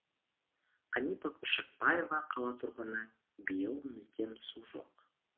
қанипа көшекбаева қала тұрғыны биыл мүлдем су жоқ